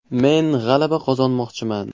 Men g‘alaba qozonmoqchiman.